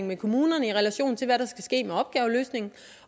med kommunerne i relation til hvad der skal ske med opgaveløsningen